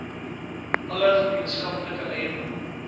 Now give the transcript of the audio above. alle gemeenskaplike eiendom